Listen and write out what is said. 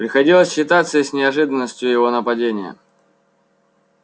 приходилось считаться и с неожиданностью его нападения